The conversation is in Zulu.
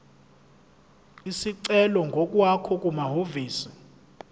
isicelo ngokwakho kumahhovisi